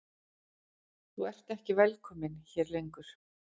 Þú ert ekki velkominn hér lengur.